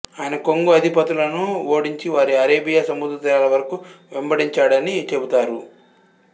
ఆయన కొంగు అధిపతులను ఓడించి వారిని అరేబియా సముద్రతీరాల వరకు వెంబడించాడని చెబుతారు